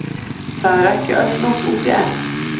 Það er ekki öll nótt úti enn.